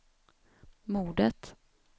mordet